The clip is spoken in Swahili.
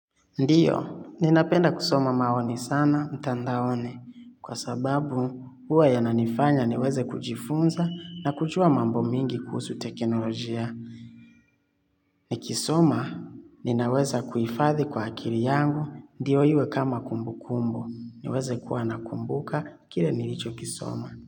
Ndio, ninapenda kusoma maoni sana mtandaoni kwa sababu huwa yananifanya niweze kujifunza na kujua mambo mengi kuhusu teknolojia. Nikisoma, ninaweza kuhifadhi kwa akili yangu ndio iwe kama kumbukumbu, niweze kuwa nakumbuka kile nilichokisoma.